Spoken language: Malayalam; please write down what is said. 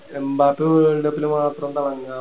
എംബാപേ world cup ല് മാത്രം തെളങ്ങുക